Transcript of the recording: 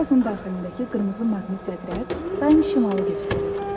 Kompasın daxilindəki qırmızı maqnit əqrəb daim şimalı göstərir.